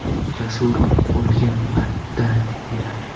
Jasur o‘lgan paytda-ya?